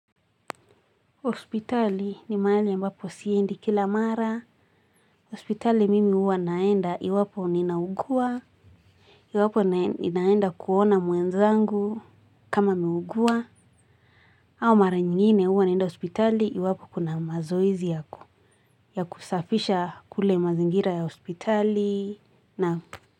Hospitali ni mahali ambapo siendi kila mara. Hospitali mimi huwa naenda iwapi nina ugua. Iwapo ninaenda kuona mwenzangu kama ameugua. Au mara nyingine huwa naenda hospitali iwapo kuna mazoezi yako. Ya kusafisha kule mazingira ya hospitali na.